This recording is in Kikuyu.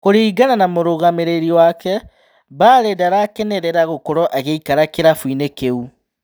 Kũringana na mũrũgamĩrĩri wake Mbale ndarakenerera gũkorwo agĩikara kĩrabuinĩ kĩu.